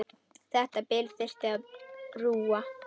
Þetta bil þyrfti að brúa.